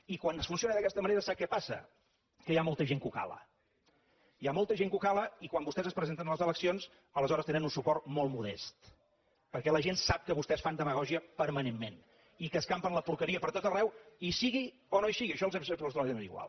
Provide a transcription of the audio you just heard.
i quan es funciona d’aquesta manera sap què passa que hi ha molta gent que ho cala hi ha molta gent que ho cala i quan vostès es presenten a les eleccions aleshores tenen un suport molt modest perquè la gent sap que vostès fan demagògia permanentment i que escampen la porqueria pertot arreu hi sigui o no hi sigui i això els és absolutament igual